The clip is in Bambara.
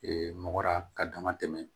mɔrɔ ka dama tɛmɛ